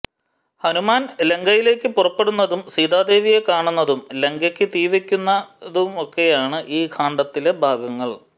ഹനുമാൻ ലങ്കയിലേയ്ക്ക് പുറപ്പെടുന്നതും സീതാദേവിയെ കാണുന്നതും ലങ്കയ്ക്ക് തീ വെയ്ക്കുന്നതുമൊക്കെയാണ് ഈ കാണ്ഡത്തിലെ ഭാഗങ്ങൾ